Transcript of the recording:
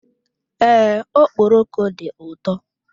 Ee, okpọroko dị ụtọ.